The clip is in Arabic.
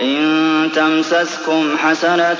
إِن تَمْسَسْكُمْ حَسَنَةٌ